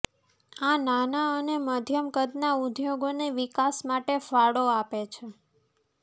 આ નાના અને મધ્યમ કદના ઉદ્યોગોને વિકાસ માટે ફાળો આપે છે